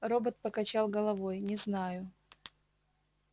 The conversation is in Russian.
робот покачал головой не знаю